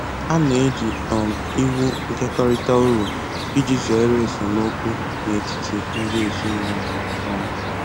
Ha na-eji um iwu nkekọrịta uru iji zere esemokwu n'etiti ndi ezinụlọ um